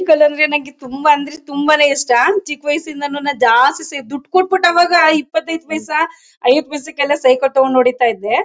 ಹೂಗಳಂದ್ರೆ ನನಗೆ ತುಂಬಾ ಅಂದ್ರೆ ತುಂಬಾನೇ ಇಷ್ಟ ಚಿಕ್ ವಯಸ್ಸಿಂದಾನು ನಾನು ಜಾಸ್ತಿ ಸೆ ದುಡ್ಡು ಕೊಟ್ಟು ಬಿಟ್ಟು ಅವಾಗ ಇಪ್ಪತೈದು ಪೈಸ ಐವತ್ತು ಪೈಸೆ ಗೆಲ್ಲ ಸೈಕಲ್ ತಗೊಂಡು ಹೊಡಿತಾ ಇದ್ದೆ.